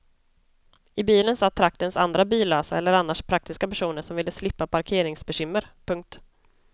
I bilen satt traktens andra billösa eller annars praktiska personer som ville slippa parkeringsbekymmer. punkt